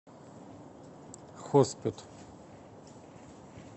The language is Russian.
хоспет